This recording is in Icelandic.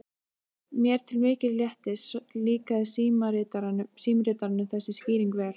Mér til mikils léttis líkaði símritaranum þessi skýring vel.